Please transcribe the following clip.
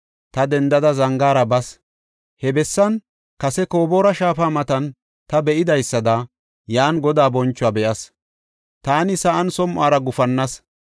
Ta dendada, zangaara bas. He bessan kase Koboora shaafa matan ta be7idaysada, yan Godaa bonchuwa be7as; taani sa7an som7ora gufannas.